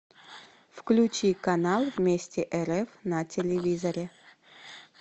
включи канал вместе рф на телевизоре